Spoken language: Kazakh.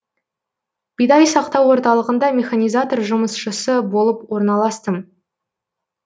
бидай сақтау орталығында механизатор жұмысшысы болып орналастым